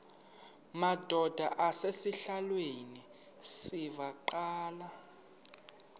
madod asesihialweni sivaqal